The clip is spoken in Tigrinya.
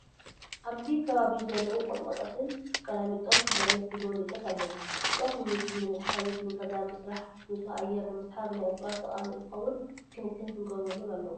ኣብዚ ከባቢ ዝደረቁ ቆጥቆጣትን ቃላሚቶስ፣ በለስ ዝበለ እፅዋት ኣለው። እፅዋት ንምግቢ ንመድሓኒት፣ ንገዛ ምስራሕ፣ ንፁህ ኣየር ንምስሓብ ናይ እፅዋት ጠቅሚ እትከውን ክንክን ክግበረሎም ኣለዎ።